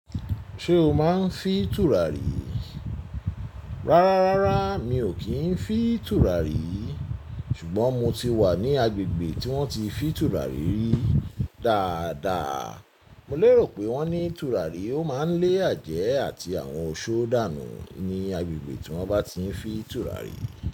Ṣé o máa ń fì tùràrí? Rárá, rárá mi ò kí ń fì tùràrí. Ṣùgbọ́n mo ti wà ní agbègbè tí wọ́n ti fì tùràrí rí dáadáa. Mò lérò pé wọ́n ní tùràrí ó máa ń lé àjẹ́ àti àwọn òṣò dánù ní agbègbè tí wọ́n bá ti ń fì tùràrí.